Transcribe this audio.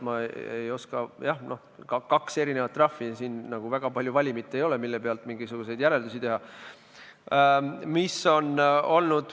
Jah, kaks erinevat trahvi on, siin nagu väga suurt valimit ei ole, mille pealt mingisuguseid järeldusi teha.